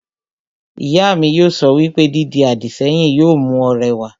Ìyá mi yóò sọ wípé, 'Dídi àdìsẹ́yìn yóò mú ọ rẹwà'